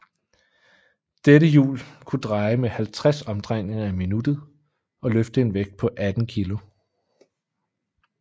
Dette hjul kunne dreje med 50 omdrejninger i minuttet og løfte en vægt på 18 kg